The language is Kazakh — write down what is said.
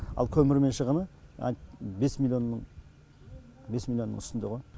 ал көмірмен шығыны бес миллионның бес миллионның үстінде ғо